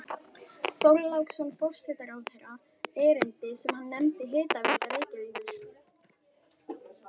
Þorláksson forsætisráðherra erindi sem hann nefndi Hitaveita Reykjavíkur.